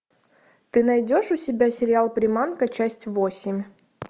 ты найдешь у себя сериал приманка часть восемь